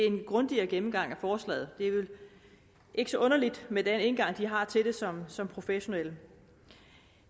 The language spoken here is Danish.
en grundigere gennemgang af forslaget det er vel ikke så underligt med den indgang de har til det som som professionelle